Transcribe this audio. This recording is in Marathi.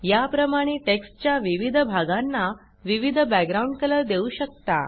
या प्रमाणे टेक्स्टच्या विविध भागांना विविध बॅकग्राउंड कलर देऊ शकता